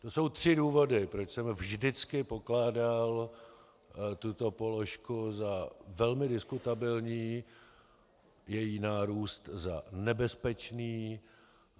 To jsou tři důvody, proč jsem vždycky pokládal tuto položku za velmi diskutabilní, její nárůst za nebezpečný.